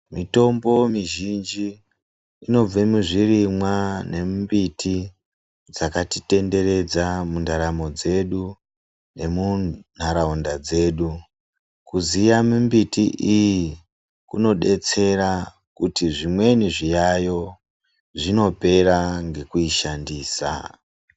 Mitombo mizhinji inobva muzvirimwa nemimbiti dzakatitenderedza mundaramo dzedu nemunharaunda dzedu. Kuziya mumbiti iyi kunodetsera kuti zvimweni zviyayo zvinopera ngekuishandisa.